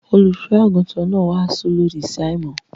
Olùṣọ́-àgùntàn náà wàásù lòdì sí àìmọ́.